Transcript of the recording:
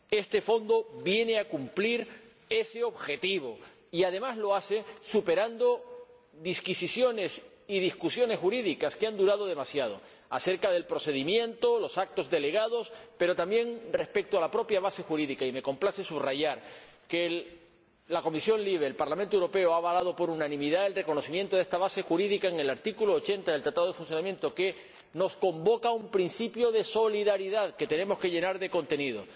Este fondo viene a cumplir ese objetivo y, además, lo hace superando disquisiciones y discusiones jurídicas que han durado demasiado, acerca del procedimiento, los actos delegados, pero también respecto a la propia base jurídica, y me complace subrayar que la Comisión de Libertades Civiles, Justicia y Asuntos de Interior ha avalado por unanimidad el reconocimiento de esta base jurídica en el artículo 80 del Tratado de Funcionamiento de la Unión Europea, que nos convoca a un principio de solidaridad que tenemos que llenar de contenido.